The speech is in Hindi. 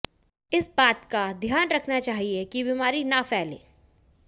इस बात का ध्यान रखना चाहिए कि बीमारी न फैल